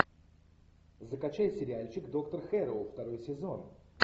закачай сериальчик доктор хэрроу второй сезон